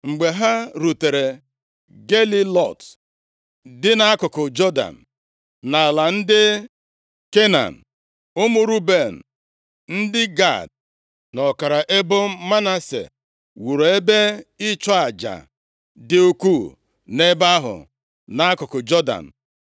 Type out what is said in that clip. Mgbe ha rutere Gelilọt dị nʼakụkụ Jọdan, nʼala ndị Kenan, ụmụ Ruben, ndị Gad na ọkara ebo Manase wuru ebe ịchụ aja dị ukwu nʼebe ahụ nʼakụkụ Jọdan.